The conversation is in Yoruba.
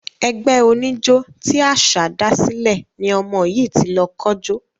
Ẹgbẹ́ oníjó tí Àṣá dásílẹ̀ ni ọmọ yìí ti lọ kójó.